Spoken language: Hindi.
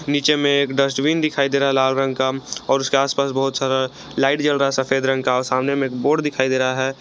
नीचे में एक डस्टबिन दिखाई दे रहा है लाल रंग का और उसके आसपास बहुत सारा लाइट जल रहा है सफेद रंग का और सामने में एक बोर्ड दिखाई दे रहा है।